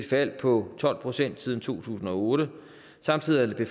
fald på tolv procent siden to tusind og otte samtidig